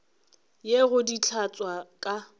ye go di hlatswa ka